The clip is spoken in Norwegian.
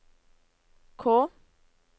K